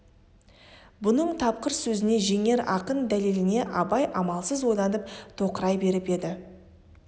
бұның тапқыр сөзіне жеңер ақын дәлеліне абай амалсыз ойланып тоқырай беріп еді